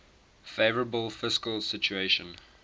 favourable fiscal situation